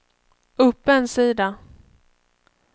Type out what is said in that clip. upp en sida